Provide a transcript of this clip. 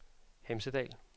Hemsedal